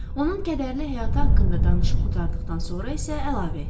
Onun kədərli həyatı haqqında danışıb qurtardıqdan sonra isə əlavə etdi.